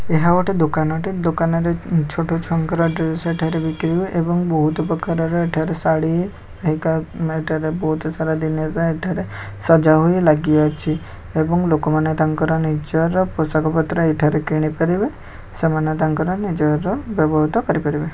ଏହା ଗୋଟେ ଦୋକାନଟେ ଦୋକାନରେ ଛୋଟ ଛୁଆ ଙ୍କର ଡ୍ରେସ ଏଠାରେ ବିକ୍ରି ହୁଏ ଏବଂ ବହୁତ ପ୍ରକାରର ଏଠାରେ ଶାଢୀ ସଜା ହୋଇ ଲାଗିଅଛି ଏବଂ ଲୋକମାନେ ତାଙ୍କ ନିଜର ପୋଷାକପତ୍ର ଏଠାରେ କିଣିପାରିବେ ସେମାନେ ତାଙ୍କର ନିଜର ବ୍ୟବହୃତ କରିପାରିବେ ।